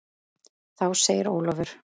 Þá segir Ólafur